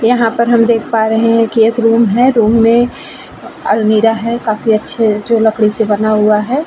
यहाँ पर हम देख पा रहे हैं कि एक रूम है। रूम में अलमीरा है। काफी अच्छी जो लकड़ी से बना हुवा है।